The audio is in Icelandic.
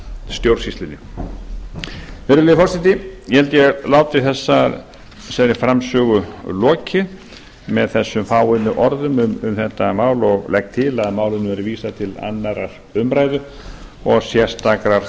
stjórnsýslunni virðulegi forseti ég held að ég láti þessari framsögu lokið með þessum fáu orðum um þetta mál og legg til að málinu verði vísað til annarrar umræðu og sérstakrar